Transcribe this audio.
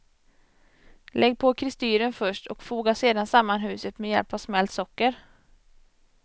Lägg på kristyren först, och foga sedan samman huset med hjälp av smält socker.